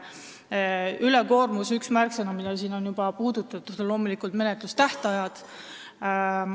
Üks ülekoormusega seotud märksõnu, mida siin on juba puudutatud, on loomulikult menetlustähtajad.